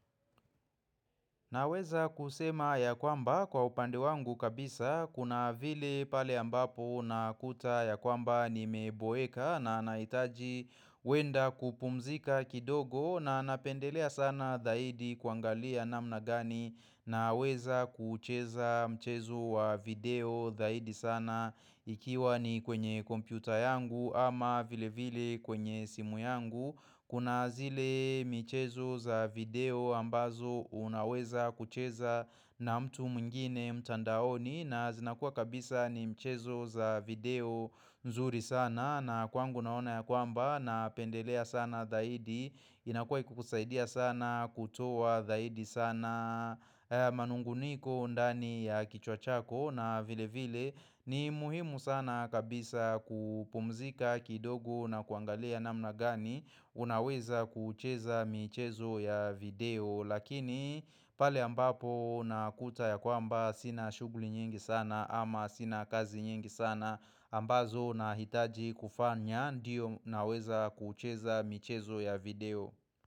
Naweza kusema ya kwamba kwa upande wangu kabisa kuna vile pale ambapo nakuta ya kwamba nimeboeka na nanahitaji kwenda kupumzika kidogo na napendelea sana zaidi kuangalia namna gani naweza kucheza mchezo wa video zaidi sana ikiwa ni kwenye kompyuta yangu ama vile vile kwenye simu yangu. Kuna zile mchezo za video ambazo unaweza kucheza na mtu mwingine mtandaoni na zinakua kabisa ni mchezo za video nzuri sana na kwangu naona ya kwamba napendelea sana zaidi inakua ikiukusaidia sana kutoa zaidi sana manung'uniko ndani ya kichwa chako na vile vile ni muhimu sana kabisa kupumzika kidogo na kuangalia namna gani unaweza kucheza michezo ya video. Lakini pale ambapo nakuta ya kwamba sina shughuli nyingi sana ama sina kazi nyingi sana ambazo nahitaji kufanya ndiyo naweza kucheza michezo ya video.